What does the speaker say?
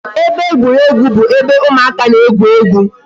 Ebe egwuruegwu bụ ebe ụmụaka na-egwu egwu